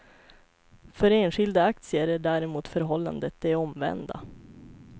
För enskilda aktier är däremot förhållandet det omvända.